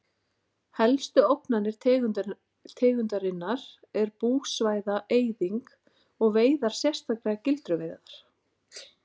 Helstu ógnanir tegundarinnar er búsvæða-eyðing og veiðar sérstaklega gildruveiðar.